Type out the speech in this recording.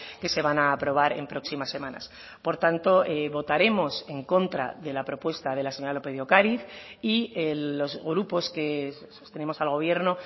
que se van a aprobar en próximas semanas por tanto votaremos en contra de la propuesta de la señora lópez de ocariz y los grupos que sostenemos al gobierno